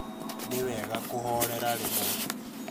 Nĩ wega kũhorera rĩmwe